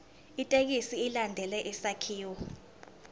ithekisthi ilandele isakhiwo